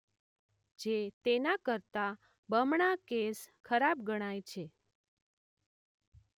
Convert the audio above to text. જે તેના કરતાં બમણા કેસ ખરાબ ગણાય છે.